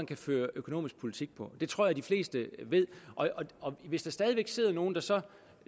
kan føre økonomisk politik på det tror jeg de fleste ved hvis der stadig væk sidder nogle der så